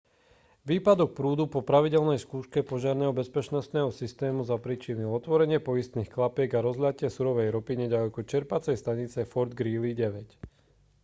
výpadok prúdu po pravidelnej skúške požiarneho bezpečnostného systému zapríčinil otvorenie poistných klapiek a rozliatie surovej ropy neďaleko čerpacej stanice fort greely 9